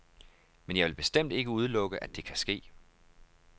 Men jeg vil bestemt ikke udelukke, at det kan ske.